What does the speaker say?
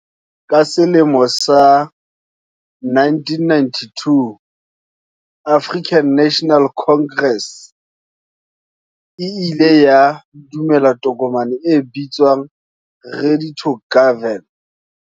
Ka selemo sa 1992, African National Congress e ile ya dumela tokomane e bitswang ready to govern.